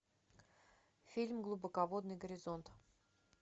фильм глубоководный горизонт